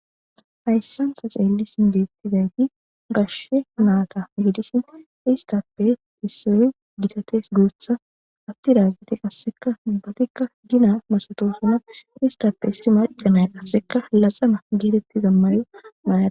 Hayssanta xeellishin deettizay di gashe naata giidishin istappe issoy gitates guutha atti daaggiti qasseka bubbatikka gina masatosuna istappe si majamay qasseka laxana geedetti zammaniyo maaya.